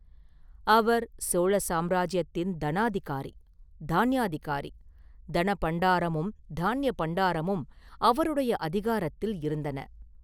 அவர் சோழ சாம்ராஜ்யத்தின் தனாதிகாரி; தான்யாதிகாரி; தனபண்டாரமும் தான்ய பண்டாரமும் அவருடைய அதிகாரத்தில் இருந்தன.